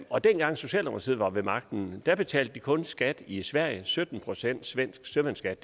og dengang socialdemokratiet var ved magten betalte de kun skat i sverige sytten procent svensk sømandsskat